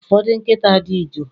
Ụfọdụ nkịta dị jụụ